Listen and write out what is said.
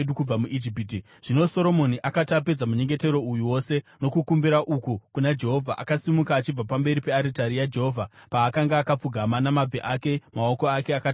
Zvino Soromoni akati apedza munyengetero uyu wose nokukumbira uku kuna Jehovha, akasimuka achibva pamberi pearitari yaJehovha, paakanga akapfugama namabvi ake, maoko ake akatambanudzirwa kudenga.